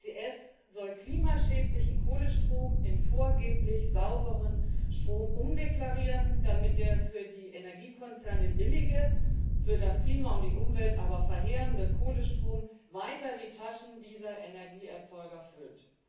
CCS soll klimaschädlichen Kohlestrom in vorgeblich sauberen Strom umdeklarieren, damit der für die Energiekonzerne billige, für das Klima und die Umwelt aber verheerende Kohlestrom weiter die Taschen dieser Energieerzeuger füllt.